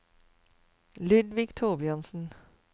Ludvig Thorbjørnsen